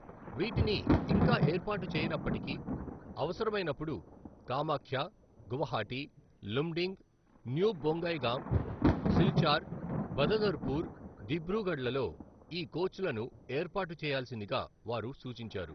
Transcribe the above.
వీటిని ఇంకా ఏర్పాటు చేయనప్పటికీ, అవసరమైనపుడు కామాఖ్య, గువాహటి, లుమ్డింగ్, న్యూ బొంగైగామ్, సిల్చార్, బదదర్పూర్, దిబ్రూఘడ్లలో ఈ కోచ్లను ఏర్పాటు చేయాల్సిందిగా వారు సూచించారు